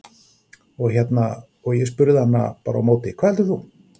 Og hérna, og ég spurði hann bara á móti, hvað heldur þú?